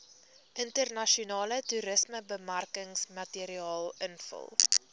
internasionale toerismebemarkingsmateriaal invul